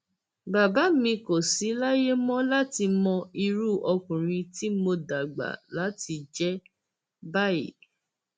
bàbá mi kò sì láyè mọ láti mọ irú ọkùnrin tí mo dàgbà láti jẹ báyìí